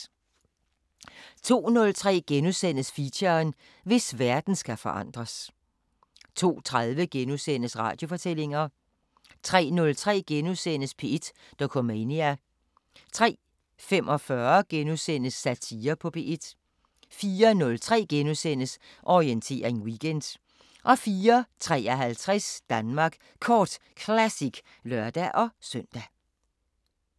02:03: Feature: Hvis verden skal forandres * 02:30: Radiofortællinger * 03:03: P1 Dokumentar * 03:45: Satire på P1 * 04:03: Orientering Weekend * 04:53: Danmark Kort Classic (lør-søn)